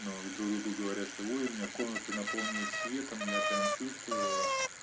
ну а к друг другу говорят что ой у меня комната наполнилась светом я прямо чувствовала